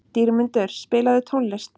Dýrmundur, spilaðu tónlist.